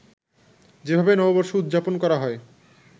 যেভাবে নববর্ষ উদযাপন করা হয়